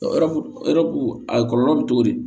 Yɔrɔbu a kɔlɔlɔ bɛ cogo di